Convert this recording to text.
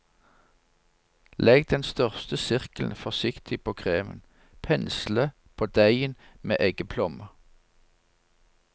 Legg den største sirkelen forsiktig på kremen, pensle på deigen med eggeplomme.